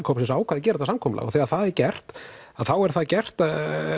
hópsins ákvað að gera þetta samkomulag þegar það er gert þá er það gert